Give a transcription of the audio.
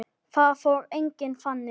Það fór ekki þannig.